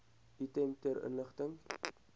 item ter inligting